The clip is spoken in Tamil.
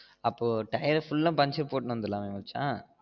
அப்போ டயர் full ஆஹ் பஞ்சர் போட்டு வந்துரலாம்மா மச்சா